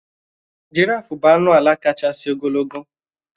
Jìráfù bụ anụ álà káchásị ogologo.